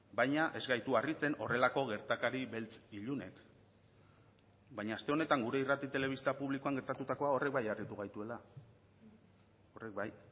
baina ez gaitu harritzen horrelako gertakari beltz ilunek baina aste honetan gure irrati telebista publikoan gertatutakoa horrek bai harritu gaituela horrek bai